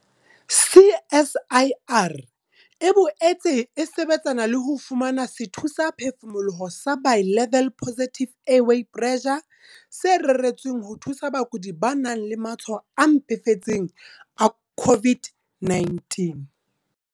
CSIR e boetse e sebetsana le ho fumana sethusaphefumoloho sa Bi-level Positive Airway Pressure, se reretsweng ho thusa bakudi ba nang le matshwao a mpefetseng a COVID-19.